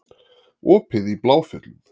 Opið í Bláfjöllum